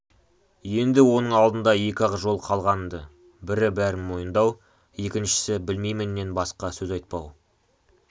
енді оның алдында екі-ақ жол қалған-ды бірі бәрін мойындау екіншісі білмейміннен басқа сөз айтпау